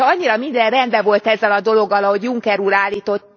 hogyha annyira minden rendben volt ezzel a dologgal, ahogy Juncker úr állította